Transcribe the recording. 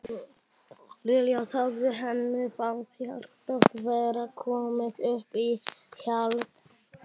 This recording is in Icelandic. Lilla þagði, henni fannst hjartað vera komið upp í háls.